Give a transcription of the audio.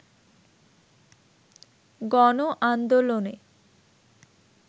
গণ আন্দোলনে